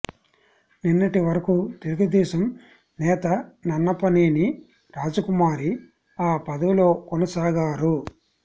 నిన్నటి వరకు తెలుగుదేశం నేత నన్నపనేని రాజకుమారి ఆ పదవిలో కొనసాగారు